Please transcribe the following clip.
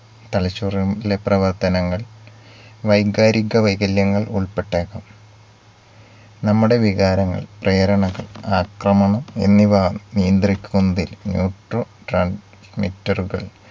തലച്ചോറിലെ പ്രവർത്തനങ്ങൾ വൈകാരിക വൈകല്യങ്ങൾ ഉൾപ്പെട്ടേക്കാം. നമ്മുടെ വികാരങ്ങൾ പ്രേരണകൾ ആക്രമണം എന്നിവ നിയന്ത്രിക്കുന്നതിൽ neutro transmiter കൾ